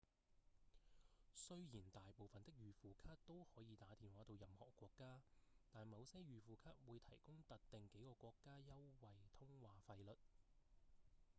雖然大部分的預付卡都可以打電話到任何國家但某些預付卡會提供特定幾個國家優惠通話費率